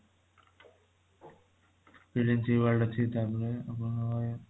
philips e world ଅଛି ତାପରେ ଊଁ